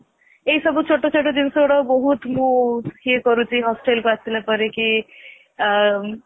ଏଇ ସବୁ ଛୋଟ ଛୋଟ ଜିନିଷ ଗୁଡା ବହୁତ ମୁଁ ଇଏ କରୁଛି hostel କୁ ଆସିଲା ପରେ କି